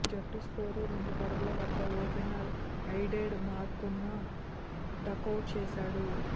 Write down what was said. జట్టు స్కోరు రెండు పరుగుల వద్ద ఓపెనర్ అయిడెన్ మార్కరమ్ను డకౌట్ చేసాడు